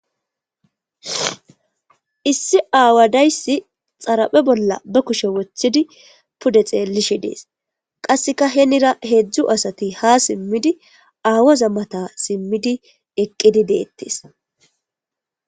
Issi aawadayssi xaraphe bolla ba kushe wochchidi pude xeellishe dees qasseka henira heedzdzu asati ha simmidi aawaza mata simmidi eqqidi deettes.